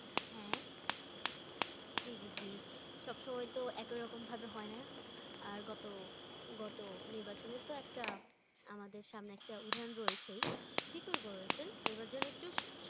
হ্যাঁ। জি জি জি, সব সময় তো একই রকম ভাবে হয় না আর গত, গত নির্বাচনের তো একটা আমাদের সামনে একটা উদাহরণ রয়েছেই। ঠিকই বলেছেন এইবার যেন একটু